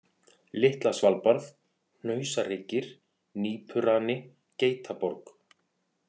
Litla-Svalbarð, Hnausahryggir, Nípurani, Geitaborg